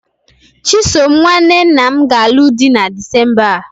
Chisom nwanne nna m ga-alụ di na Disemba a.